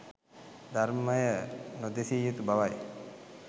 ධර්මය නොදෙසිය යුතු බවයි.